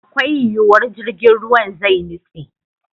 Akwai yiwuwar jirgin ruwan zai nitse.